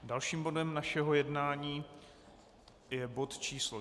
Dalším bodem našeho jednání je bod číslo